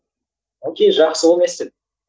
ок жақсы ол не істеді